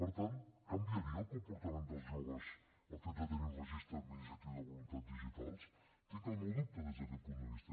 per tant canviaria el comportament dels joves el fet de tenir un registre administratiu de voluntats digitals hi tinc el meu dubte des d’aquest punt de vista